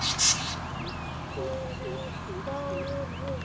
æpti Dóri.